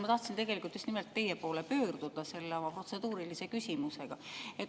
Ma tahtsin tegelikult just nimelt teie poole pöörduda oma protseduurilise küsimusega.